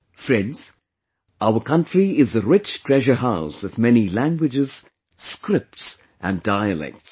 Friends, our country is a rich treasure house of many languages, scripts and dialects